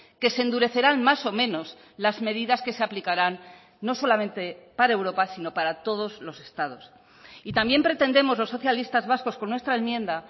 que se endurecerán más o menos las medidas que se aplicarán no solamente para europa sino para todos los estados y también pretendemos los socialistas vascos con nuestra enmienda